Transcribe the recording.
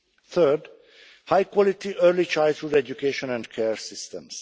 Third, high quality early childhood education and care systems.